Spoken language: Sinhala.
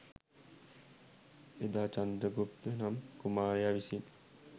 එදා චන්ද්‍රගුප්ත නම් කුමාරයා විසින්